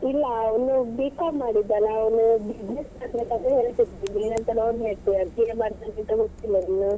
ಇಲ್ಲ ಅವ್ನು B.Com ಮಾಡಿದ್ದಲ್ಲ ಅವನು business ಇನ್ನು ಎಂತ ನೋಡ್ಬೇಕು ಮಾಡ್ತಾನಂತ ಗೊತ್ತಿಲ್ಲ ಇನ್ನು